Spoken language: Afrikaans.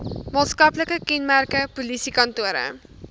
maatskaplike kenmerke polisiekantore